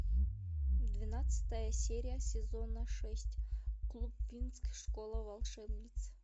двенадцатая серия сезона шесть клуб винкс школа волшебниц